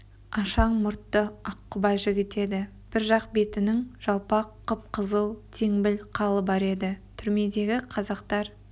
ашаң мұртты аққұба жігіт еді бір жақ бетінің жалпақ қып-қызыл теңбіл қалы бар еді түрмедегі қазақтар